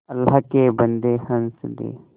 अल्लाह के बन्दे हंस दे